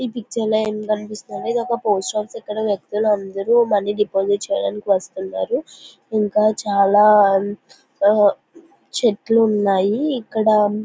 ఈ పిక్చర్లో ఏం కనిపిస్తుంది ఒక పోస్ట్ ఆఫీస్ ఇక్కడ వ్యక్తులందరూ మనీ డిపాజిట్ చేయడానికి వస్తున్నారు ఇంకా చాలా ఆ చెట్లు ఉన్నాయి ఇక్కడ --